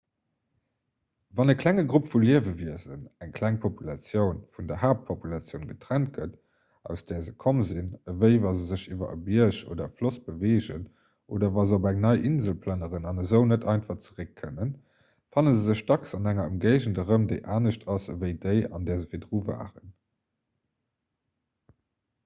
wann e klenge grupp vu liewewiesen eng kleng populatioun vun der haaptpopulatioun getrennt gëtt aus där se komm sinn ewéi wa se sech iwwer e bierg oder e floss beweegen oder wa se op eng nei insel plënneren an esou net einfach zeréck kënnen fanne se sech dacks an enger ëmgéigend erëm déi anescht ass ewéi déi an där se virdru waren